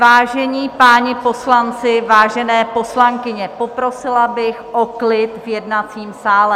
Vážení páni poslanci, vážené poslankyně, poprosila bych o klid v jednacím sále.